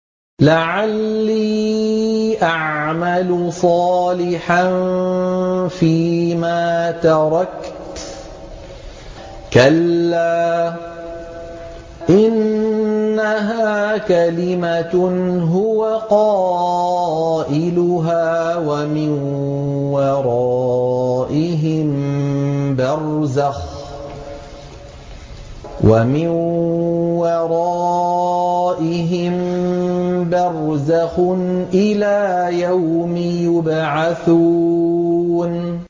لَعَلِّي أَعْمَلُ صَالِحًا فِيمَا تَرَكْتُ ۚ كَلَّا ۚ إِنَّهَا كَلِمَةٌ هُوَ قَائِلُهَا ۖ وَمِن وَرَائِهِم بَرْزَخٌ إِلَىٰ يَوْمِ يُبْعَثُونَ